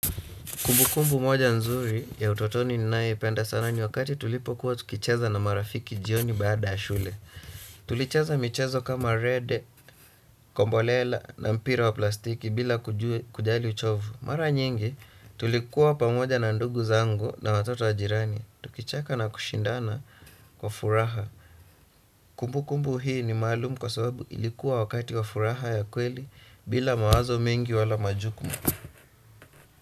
Kumbukumbu moja nzuri ya utotoni ninayoipenda sana ni wakati tulipokuwa tukicheza na marafiki jioni baada ya shule. Tulicheza michezo kama rede, kombolela na mpira wa plastiki bila kujali uchovu. Mara nyingi tulikuwa pamoja na ndugu zangu na watoto wa jirani. Tukichaka na kushindana kwa furaha. Kumbukumbu hii ni maalumu kwa sababu ilikuwa wakati wa furaha ya kweli bila mawazo mengi wala majukumu.